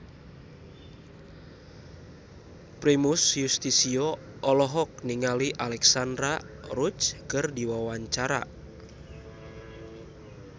Primus Yustisio olohok ningali Alexandra Roach keur diwawancara